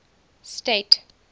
state